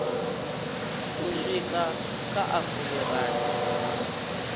u swika kha a fumirathi